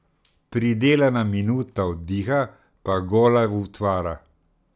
Pridelana minuta oddiha pa gola utvara.